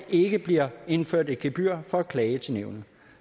ikke bliver indført et gebyr for at klage til nævnet